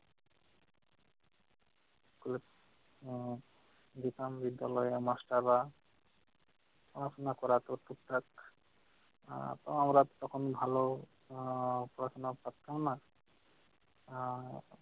school এ আহ যেতাম বিদ্যালয়ের master রা পড়াশোনা করতো ঠিক থাক। আহ তো আমরা তখন ভালো আহ পড়াশোনা করতাম না আহ